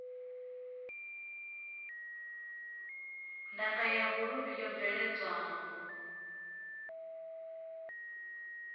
ndaka ya vhuluvhi yo bveledzwaho